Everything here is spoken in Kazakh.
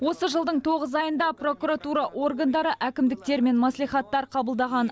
осы жылдың тоғыз айында прокуратура органдары әкімдіктер мен мәслихаттар қабылдаған